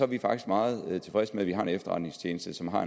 vi faktisk meget tilfredse med at vi har en efterretningstjeneste som har